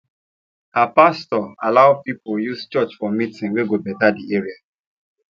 her pastor allow people use church for meeting wey go better the area